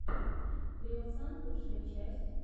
креосан лучшая часть